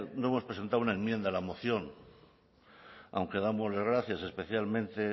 no hemos presentado una enmienda a la moción aunque damos las gracias especialmente